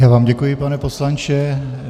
Já vám děkuji, pane poslanče.